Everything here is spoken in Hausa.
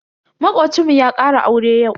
Makocinmu ya ƙara aure yau.